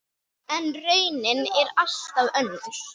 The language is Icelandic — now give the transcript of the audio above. En raunin er allt önnur.